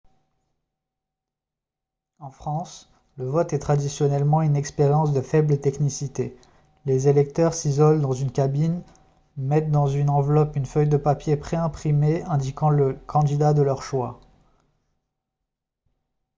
en france le vote est traditionnellement une expérience de faible technicité les électeurs s'isolent dans une cabine mettent dans une enveloppe une feuille de papier pré-imprimée indiquant le candidat de leur choix